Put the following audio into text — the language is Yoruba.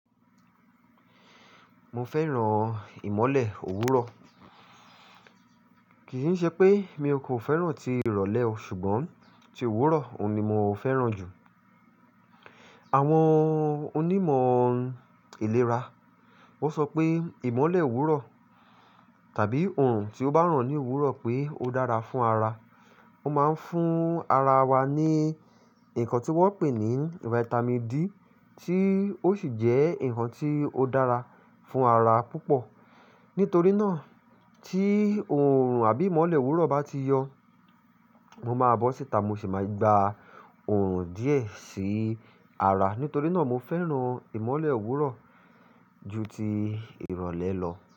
Mo fẹ́ràn ìmọ́lẹ̀ òwúrọ̀. Kì í ṣe pé mi kò fẹ́ràn ti ìrọ̀lẹ́ o, ṣùgbọ́n ti òwúrọ̀ òun ni mo fẹ́ràn jù. Àwọn onímọ̀ ìlera, wọ́n sọ pé ìmọ́lẹ̀ òwúrọ̀ tàbí òòrùn tí ó bá ràn ní òwúrọ̀ pé ó dára fún ara. Ó máa ń fún ara wa ní nǹkan tí wọ́n pè ní Vitamin D tí ó sì jẹ́ nǹkan tí ó dára fún ara púpọ̀. Nítorí náà tí òòrùn àbí ìmọ́lẹ̀ òwúrọ̀ bá ti yọ, mo máa bọ́ síta, mo sì máa gba òòrùn díẹ̀ sí ara. Nítorí náà mo fẹ́ràn ìmọ́lẹ̀ òwúrọ̀ ju ti ìrọ̀lẹ́ lọ.